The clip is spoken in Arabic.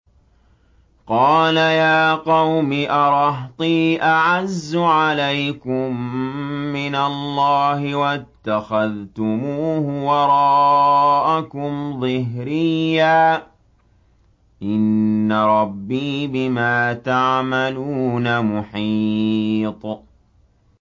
قَالَ يَا قَوْمِ أَرَهْطِي أَعَزُّ عَلَيْكُم مِّنَ اللَّهِ وَاتَّخَذْتُمُوهُ وَرَاءَكُمْ ظِهْرِيًّا ۖ إِنَّ رَبِّي بِمَا تَعْمَلُونَ مُحِيطٌ